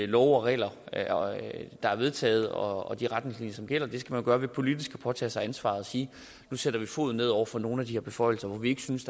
love og regler der er vedtaget og de retningslinjer som gælder det skal man gøre ved politisk at påtage sig ansvaret og sige nu sætter vi foden ned over for nogle af de her beføjelser hvor vi ikke synes